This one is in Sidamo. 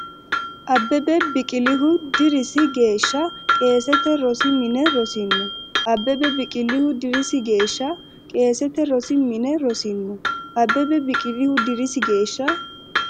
Abbebe Biqilihu dirisi geeshsha qeesete rosi mine rosino Abbebe Biqilihu dirisi geeshsha qeesete rosi mine rosino Abbebe Biqilihu dirisi geeshsha.